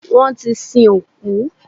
Wọ́n ti sin òkú.